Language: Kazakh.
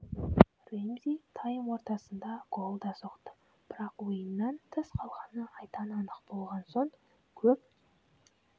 ремзи тайм ортасында гол да соқты бірақ ойыннан тыс қалғаны айдан анық болған соң көп